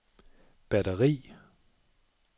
batteri